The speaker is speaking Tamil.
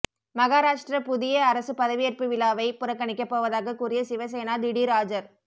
மகாராஷ்டிர புதிய அரசு பதவியேற்பு விழாவை புறக்கணிக்க போவதாக கூறிய சிவசேனா திடீர் ஆஜர்